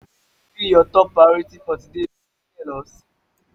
wetin be you top priority for today you fit tell us?